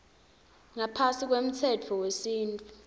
ngaphasi kwemtsetfo wesintfu